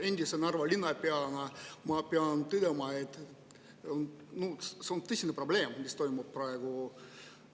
Endise Narva linnapeana ma pean tõdema, et see on tõsine probleem, mis praegu toimub.